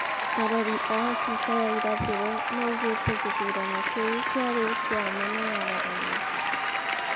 Arori a Afrika ya irathiro maugite githurano kiu kiari kia ma na waragania,